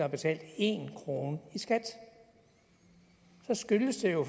har betalt en krone i skat så skyldes det jo